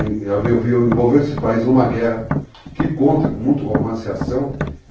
Envolveu esses países numa guerra que conta com muito romance e ação.